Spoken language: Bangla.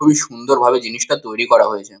খুবই সুন্দর ভাবে জিনিসটা তৈরী করা হয়েছে ।